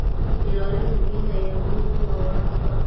Ilaalinta biyaha ayaa muhiim u ah waraabka.